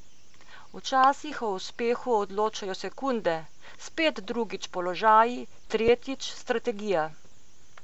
Včasih o uspehu odločajo sekunde, spet drugič položaji, tretjič strategija.